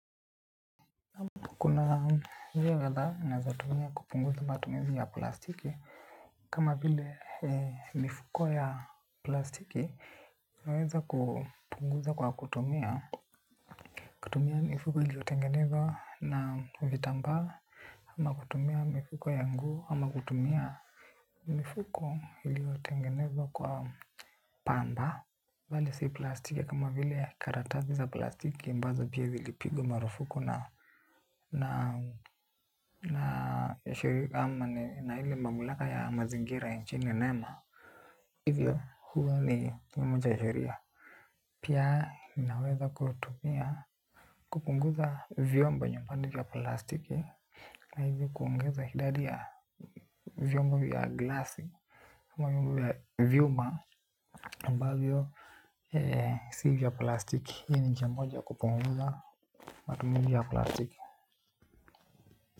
Kuna vitu kadhaa ni nazotumia kupunguza matumizi ya plastiki. Kama vile mifuko ya plastiki naweza kupunguza kwa kutumia kutumia mifuko iliotengenezwa na vitambaa ama kutumia mifuko ya nguo ama kutumia mifuko iliotengeneva kwa pamba bali si plastiki kama vile karatazi za plastiki ambazo pia zilipigwa marufuku na na ya shiri ama ni na ile mamlaka ya mazingira ya nchini nema. Hivyo huwa ni mmoja ya sheria. Pia ninaweza kutumia kupunguza vyombo nyumbani ya plastiki. Na hivyo kuongeza idadi ya viombo vya glasi kama vyombo ya vyuma ambavyo si vya plastiki. Hi ni nchia moja kupunguza matumuzi ya plastiki. Kwa hivyo.